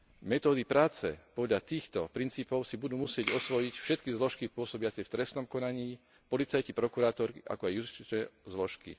Metódy práce podľa týchto princípov si budú musieť osvojiť všetky zložky pôsobiace v trestnom konaní, policajti, prokurátori, ako aj justičné zložky.